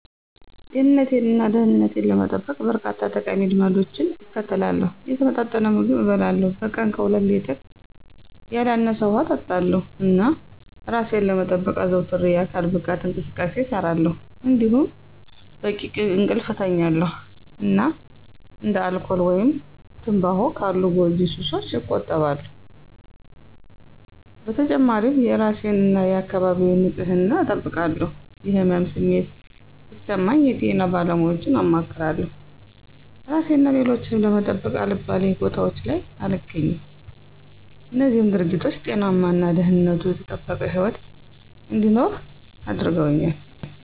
ጤንነቴን እና ደህንነቴን ለመጠበቅ፣ በርካታ ጠቃሚ ልማዶችን እከተላለሁ። የተመጣጠነ ምግብ እበላለሁ፣ በቀን ከሁለት ሌትር ያላነሰ ውሃ እጠጣለሁ፣ እና እራሴን ለመጠበቅ አዘውትሬ የአካል ብቃት እንቅስቃሴ እሰራለሁ። እንዲሁም በቂ እንቅልፍ እተኛለሁ እና እንደ አልኮል ወይም ትምባሆ ካሉ ጎጂ ሱሶች እቆጠባለሁ። በተጨማሪም የእራሴን እና የአካባቢዬን ንፅህና እጠብቃለሁ። የህመም ስሜት ሲሰማኝ የጤና ባለሙያወችን አማክራለሁ። እራሴን እና ሌሎችን ለመጠበቅ አልባሌ ቦታወች ላይ አልገኝም። እነዚህም ድርጊቶች ጤናማ እና ደህንነቱ የተጠበቀ ህይወት እንድኖር አድርገውኛል።